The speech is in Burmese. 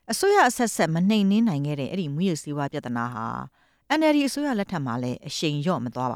အစိုးရအဆက်အဆက် ထိထိရောက်ရောက်မနှိမ်နင်းနိုင်ခဲ့တဲ့ မူးယစ်ဆေးဝါးပြဿနာဟာ NLD အစိုးရလက်ထက်မှာလည်း အရှိန်မလျော့သွားပ